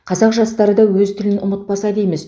қазақ жастары да өз тілін ұмытпаса дейміз